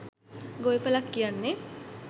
ගොවිපලක් කියන්නෙ